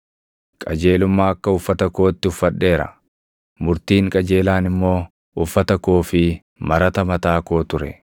Qajeelummaa akka uffata kootti uffadheera; murtiin qajeelaan immoo uffata koo fi marata mataa koo ture.